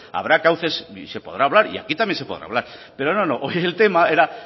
habrá cauces y se podrá hablar y aquí también se podrá hablar pero no no hoy el tema era